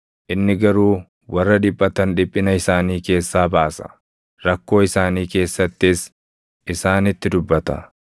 Inni garuu warra dhiphatan dhiphina isaanii keessaa baasa; rakkoo isaanii keessattis isaanitti dubbata.